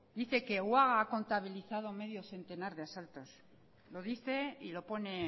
dice que uaga ha contabilizado medio centenar de asaltos lo dice y lo pone